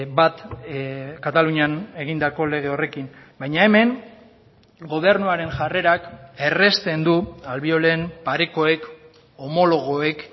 bat katalunian egindako lege horrekin baina hemen gobernuaren jarrerak errazten du albiolen parekoek homologoek